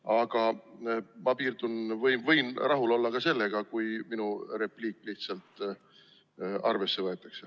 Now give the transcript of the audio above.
Aga ma võin rahul olla ka sellega, kui minu repliik lihtsalt arvesse võetakse.